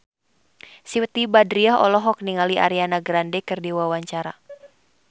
Siti Badriah olohok ningali Ariana Grande keur diwawancara